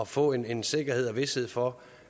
få en en sikkerhed og vished for